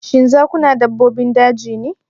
Shin zakuna dabbobin daji ne?